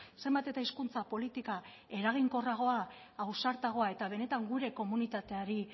zenbat eta hizkuntza politika eraginkorragoa ausartagoa eta benetan gure komunitateari